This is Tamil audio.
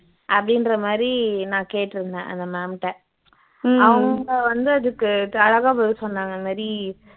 அப்படின்ற மாதிரி நான் கேட்டிருந்தேன் அந்த ma'am ட அவங்க வந்து அதுக்கு பதில் சொன்னாங்க இந்த மாதிரி